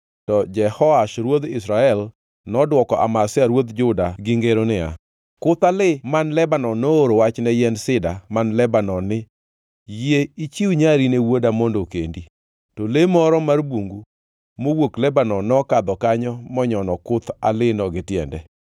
To Jehoash ruodh Israel nodwoko Amazia ruodh Juda gi ngero niya, “Kuth alii man Lebanon nooro wach ne yiend sida man Lebanon ni, ‘Yie ichiw nyari ne wuoda mondo okendi.’ To le moro mar bungu mowuok Lebanon nokadho kanyo monyono kuth aliino gi tiende.